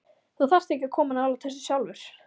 Þú þarft ekki að koma nálægt þessu sjálfur.